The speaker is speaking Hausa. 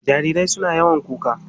Jarirai suna yawan kuka.